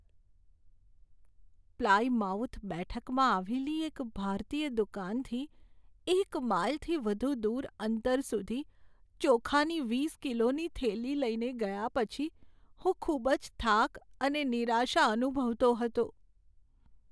Plymouth બેઠકમાં આવેલી એક ભારતીય દુકાનથી એક માઈલથી વધુ દૂર અંતર સુધી ચોખાની વીસ કિલોની થેલી લઈને ગયા પછી હું ખૂબ જ થાક અને નિરાશા અનુભવતો હતો.